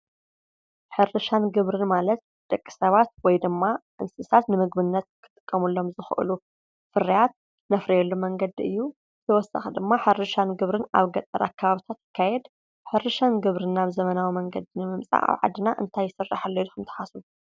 ሕርሻን ግብርን ማለት ደቂ ሰባት ወይድማ እንስሳት ንምግብነት ክጥቀምሎም ዝክእሉ ፍርያት እነፍርየሉ መንገዲ እዩ፤ ብተወሳኪ ድማ ሕርሻን ግብርን ኣብ ገጠር ኣከባቢ ይካየድ። ሕርሻን ግብርን ናብ ዘበናዊ መንገዲ ንምምጻእ እንታይ ይስራሕ ኣሎ እልኩም ትሓስቡ?